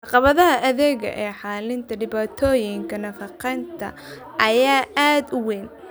Caqabadaha adag ee xallinta dhibaatooyinka nafaqeynta ayaa aad u weyn.